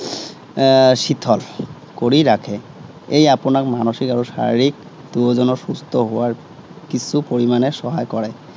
এৰ শিথিল কৰি ৰাখে। এয়ে আপোনাক মানসিক আৰু শাৰিৰীক প্ৰয়োজনত সুস্থ হোৱাত কিছু পৰিমাণে সহায় কৰে।